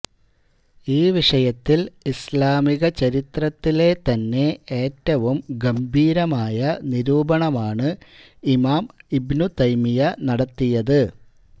ഈ വിഷയത്തില് ഇസ്ലാമിക ചരിത്രത്തിലെ തന്നെ ഏറ്റവും ഗംഭീരമായ നിരൂപണമാണ് ഇമാം ഇബ്നുതൈമിയ്യ നടത്തിയത്